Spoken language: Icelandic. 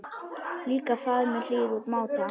Líka faðmur hlýr úr máta.